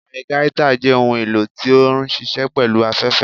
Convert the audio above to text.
Algaita jẹ ohún elò ti o nṣiṣẹ pẹlu afẹfẹ.